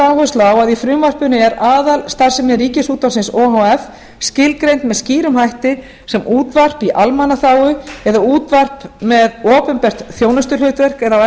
áherslu á að í frumvarpinu er aðalstarfsemi ríkisútvarpsins o h f skilgreint sem skýrum hætti sem útvarp í almannaþágu eða útvarp með opinbert þjónustuhlutverk eða á